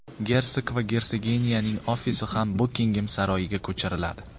Gersog va gersoginyaning ofisi ham Bukingem saroyiga ko‘chiriladi.